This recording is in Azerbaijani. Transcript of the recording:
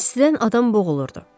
İstidən adam boğulurdu.